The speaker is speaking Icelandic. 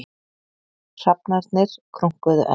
Hrafnarnir krunkuðu enn.